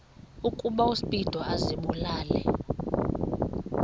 ukuba uspido azibulale